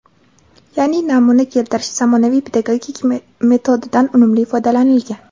yaʼni "namuna keltirish" zamonaviy pedagogik metodidan unumli foydalanilgan.